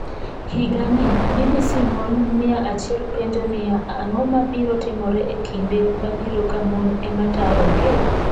Higani, BBC mon mia achiel penjo niya: Ang’o ma biro timore e kinde mabiro ka mon ema tayogi?